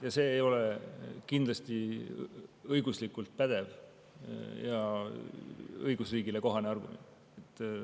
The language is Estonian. Ja see ei ole kindlasti õiguslikult pädev ja õigusriigile kohane argument.